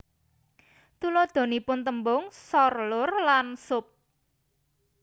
Tuladhanipun tèmbung sor lur lan sup